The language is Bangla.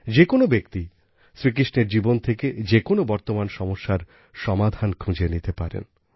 যে কোনো ব্যক্তি শ্রীকৃষ্ণের জীবন থেকে যে কোনো বর্তমান সমস্যার সমাধান খুঁজে নিতে পারে